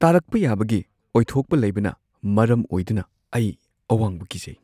ꯇꯥꯔꯛꯄ ꯌꯥꯕꯒꯤ ꯑꯣꯏꯊꯣꯛꯄ ꯂꯩꯕꯅ ꯃꯔꯝ ꯑꯣꯏꯗꯨꯅ ꯑꯩ ꯑꯋꯥꯡꯕ ꯀꯤꯖꯩ꯫